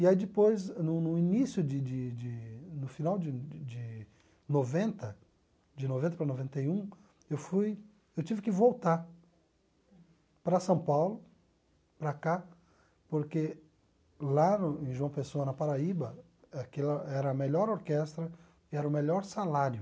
E aí depois, no no início de de de, no final de de de noventa, de noventa para noventa e um, eu fui eu tive que voltar para São Paulo, para cá, porque lá no em João Pessoa, na Paraíba, aquela era a melhor orquestra e era o melhor salário.